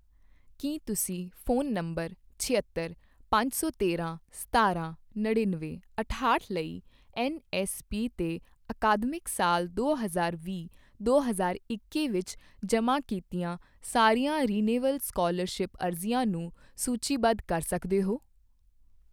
ਕੀ ਤੁਸੀਂ phone number ਛਿਅੱਤਰ, ਪੰਜ ਸੌ ਤੇਰਾਂ, ਸਤਾਰਾਂ, ਨੜਿੱਨਵੇਂ, ਅਠਾਹਟ ਲਈ ਐੱਨਐੱਸਪੀ 'ਤੇ ਅਕਾਦਮਿਕ ਸਾਲ ਦੋ ਹਜ਼ਾਰ ਵੀਹ ਦੋ ਹਜ਼ਾਰ ਇੱਕੀ ਵਿੱਚ ਜਮ੍ਹਾਂ ਕੀਤੀਆਂ ਸਾਰੀਆਂ ਰਿਨਿਵੇਲ ਸਕਾਲਰਸ਼ਿਪ ਅਰਜ਼ੀਆਂ ਨੂੰ ਸੂਚੀਬੱਧ ਕਰ ਸਕਦੇ ਹੋ?